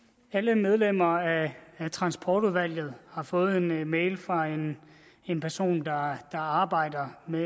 alle medlemmer af transportudvalget har fået en mail fra en en person der arbejder med